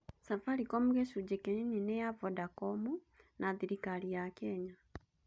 Safaricom gĩcunjĩ kĩnini nĩ ya Vodacom na thirikari ya Kenya.